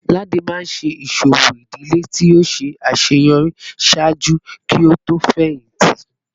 Ladi maa n ṣe iṣowo idile ti o ṣaṣeyọri ṣaaju ki o to fẹhinti